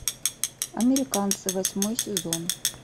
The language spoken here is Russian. американцы восьмой сезон